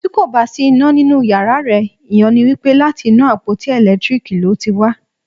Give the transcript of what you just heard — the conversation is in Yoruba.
Tí kò bá sí iná nínú yàrá rẹ, ìyẹn ni wípé láti inú àpótí ẹ̀lẹ́tíríkì ló ti wá.